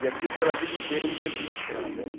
E aquilo pela vida inteira ele teve úlcera na perna.